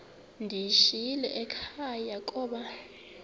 ndiyishiyile ekhaya koba